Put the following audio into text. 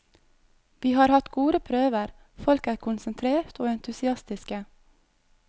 Vi har hatt gode prøver, folk er konsentrert og entusiastiske.